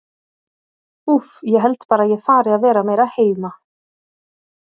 Úff, ég held bara að ég fari að vera meira heima.